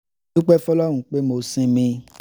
dúpẹ́ fọlọ́run pé mo sinmí